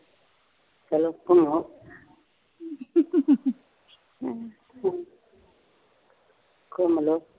ਚੱਲੋ ਘੁਮੋ ਘੁਮਲੋ